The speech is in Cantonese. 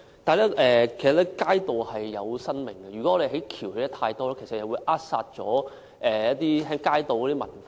但是，街道是有生命的，如果我們興建太多行人天橋，其實會扼殺街道文化。